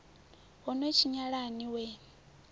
ho no tshinyala ni wee